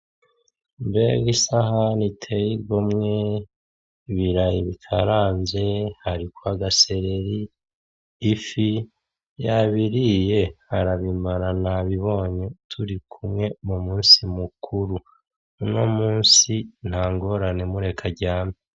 Mbega isahani iteye igomwe iriko ibarayi bikaranze hariko agasereri ifi yabiriye arabimara nabibonye turikumwe mu musi mukuru uno musi ntangorane mureke aryame.